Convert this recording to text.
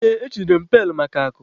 Ee, e chunyere m pailu maka akụ.